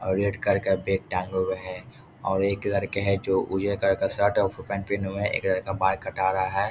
और red colour का bag टांगे हुए है और एक लड़के है जो उजला कलर का शर्ट और फुल पेंट पहने हुए है एक लड़का बाल कटा रहा है।